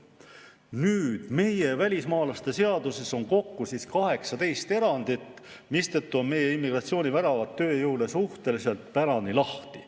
Nüüd, meie välismaalaste seaduses on kokku 18 erandit, mistõttu on meie immigratsiooniväravad tööjõule suhteliselt pärani lahti.